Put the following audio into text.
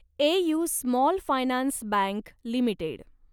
AU small finance bank limited